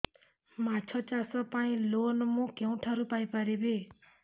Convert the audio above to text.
ମାଛ ଚାଷ ପାଇଁ ଲୋନ୍ ମୁଁ କେଉଁଠାରୁ ପାଇପାରିବି